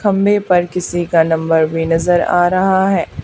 खंभे पर किसी का नंबर भी नजर आ रहा है।